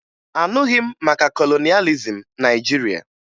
Aṅụghị m maka kolonịalizim Naịjirịa